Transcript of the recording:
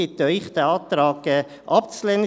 Ich bitte Sie, diesen Antrag abzulehnen.